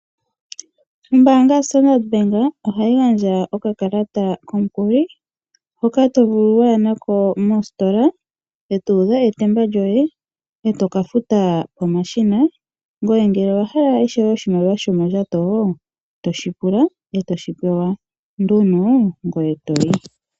Ombanga ya Standardbank ohayi gandja oka kalata komukuli hoka to vulu waya nako moostola eto udha etemba lyoye etoka futa pomashina. Ngoye ngele owa hala ishewe oshimaliwa shomondjato toshi pula etoshi pewa nduno ngoye etoyi.